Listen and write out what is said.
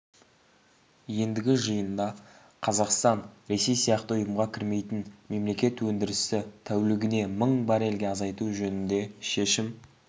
ендігі жиында қазақстан ресей сияқты ұйымға кірмейтін мемлекет өндірісті тәулігіне мың баррельге азайту жөнінде шешім